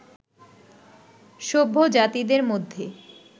সভ্য জাতিদের মধ্যে